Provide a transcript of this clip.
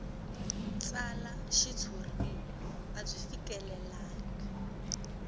tsala xitshuriwa a byi fikelelangi